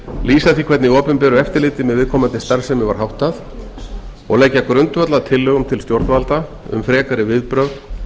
lýsa því hvernig opinberu eftirliti með viðkomandi starfsemi var háttað og leggja grundvöll að tillögum til stjórnvalda um frekari viðbrögð